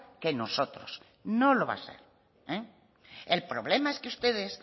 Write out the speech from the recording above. que nosotros no lo va a ser el problema es que ustedes